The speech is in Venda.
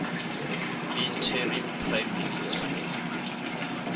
interim prime minister